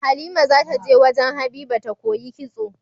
Halima zata je wajan habiba ta koyi kitso